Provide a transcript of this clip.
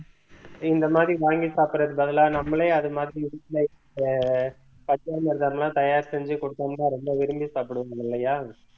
இந்த மாதிரி வாங்கி சாப்பிடுறதுக்கு பதிலா நம்மளே அது மாதிரி பஞ்சாமிர்தம்லாம் தயார் செஞ்சு கொடுத்தோம்னா ரொம்ப விரும்பி சாப்பிடுவோம் இல்லையா